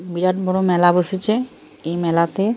বিরাট বড়ো মেলা বসেছে। এই মেলাতে --